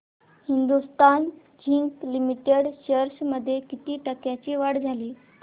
Hindustan zinc limited shares मध्ये किती टक्क्यांची वाढ झाली